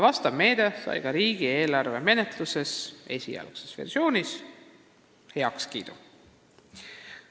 Vastav meede sai esialgses versioonis heakskiidu ka riigieelarve menetluses.